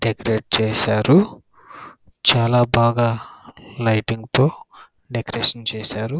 decorate చేశారు చాలా బాగా లైటింగ్ తో డెకరేట్ చేశారు --